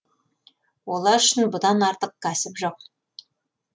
олар үшін бұдан артық кәсіп жоқ